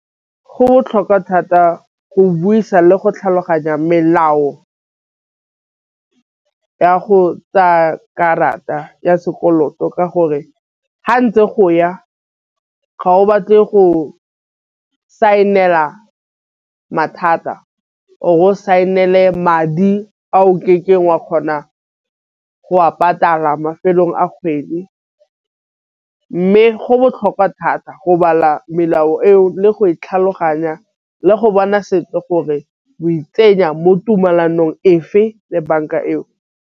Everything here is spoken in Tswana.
Go botlhokwa thata go buisa le go tlhaloganya melao ya go tsaya karata ya sekoloto. Ka gore ga ntse go ya ga o batle go sianela mathata o sainele madi wa kgona go a patala mafelong a kgwedi. Mme go botlhokwa thata go bala melao eo le go e tlhaloganya le go bona sentle gore o e tsenya mo tumalanong fa le banka eo.